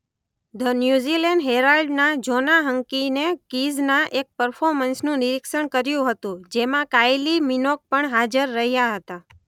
The New Zealand Herald ના Joanna હંકીને કીઝના એક પરફોર્મન્સનું નિરિક્ષણ કર્યું હતું જેમાં કાયલિ મિનોગ પણ હાજર રહ્યા હતા.